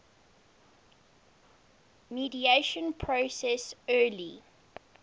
mediation process early